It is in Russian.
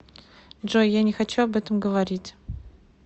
джой я не хочу об этом говорить